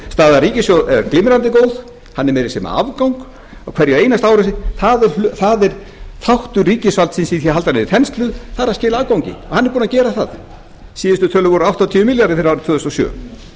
staða ríkissjóðs er glimrandi góð hann er meira að segja með afgang á hverju einasta ári það er þáttur ríkisvaldsins í því að halda niðri þenslu það er að skila afgangi og hann er búinn að gera það síðustu tölur voru áttatíu milljarðar fyrir árið